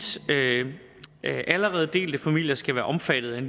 allerede delte familier skal være omfattet af en